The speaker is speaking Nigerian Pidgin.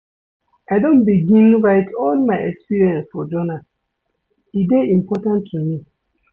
I don begin write all my experience for journal, e dey important to me.